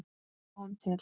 Sjáum til!